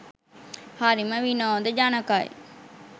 හරිම විනෝද ජනකයි.